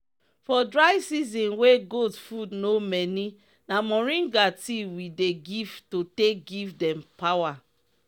for dry season wey goat food no many na moringa tea we dey give to take give dem power.